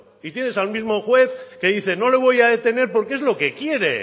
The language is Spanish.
y tienes al mismo juez que dice no le voy a detener porque es lo que quiere